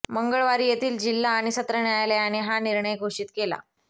मंगळवारी येथील जिल्हा आणि सत्र न्यायालयाने हा निर्णय घोषित केला